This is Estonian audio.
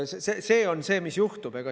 See on see, mis juhtub.